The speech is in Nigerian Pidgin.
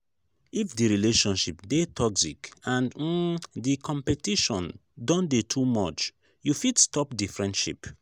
if di relationship dey toxic and um di competition don dey too much you fit stop di friendship